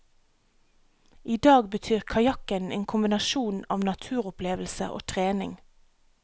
I dag betyr kajakken en kombinasjon av naturopplevelse og trening.